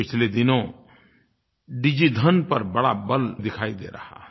पिछले दिनों डिजिधन पर बड़ा बल दिखाई दे रहा है